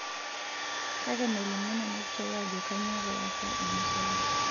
Kake melimu nena pichai ajo kainyoo pee easa ena shalan.